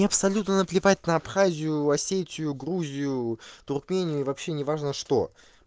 мне абсолютно наплевать на абхазию осетию грузию туркмению и вообще неважно что